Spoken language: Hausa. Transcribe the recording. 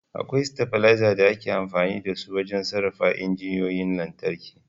Akwai stabilizers da ake amfani da su wajen sarrafa igiyoyin lantarki